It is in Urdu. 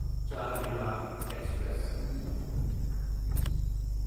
چارمینار ایکسپریس